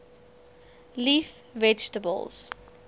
leaf vegetables